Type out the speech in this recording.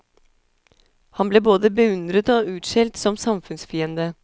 Han ble både beundret og utskjelt som samfunnsfiende.